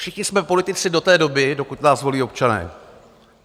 Všichni jsme politici do té doby, dokud nás volí občané.